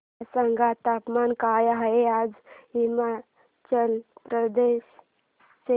मला सांगा तापमान काय आहे आज हिमाचल प्रदेश चे